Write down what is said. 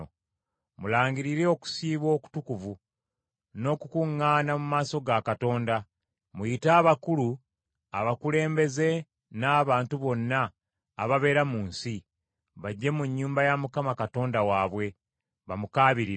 Mulangirire okusiiba okutukuvu n’okukuŋŋaana mu maaso ga Katonda. Muyite abakulu abakulembeze n’abantu bonna ababeera mu nsi, bajje mu nnyumba ya Mukama Katonda waabwe bamukaabirire.